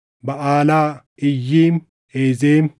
Baʼaalaa, Iyyiim, Ezem,